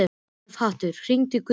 Geirhvatur, hringdu í Guðbjartsínu.